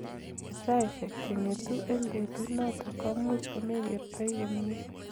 Eng saisek cheng�etu eng betut notok komuch komekertoi komyee.